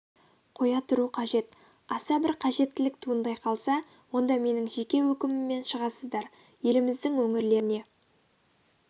қоя тұру қажет аса бір қажеттілік туындай қалса онда менің жеке өкіміммем шығасыздар еліміздің өңірлеріне